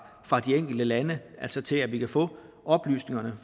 fra de enkelte lande til at vi kan få oplysningerne